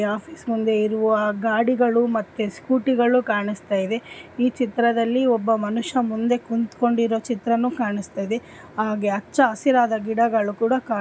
ಈ ಫೈಲ್‌ನಲ್ಲಿ ಟ್ರಾನ್ಸ್ಕ್ರಿಪ್ಷನ್ ಮಾಡಲಾಗಿಲ್ಲ ದಯವಿಟ್ಟು ಕರೆಕ್ಷನ್ಸ್ ಮಾಡಿ.